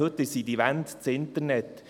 Heute sind diese Wände das Internet.